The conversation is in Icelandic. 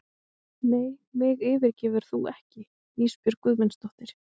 Nei mig yfirgefur þú ekki Ísbjörg Guðmundsdóttir.